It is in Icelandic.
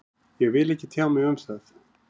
Ég vil ekki tjá mig um það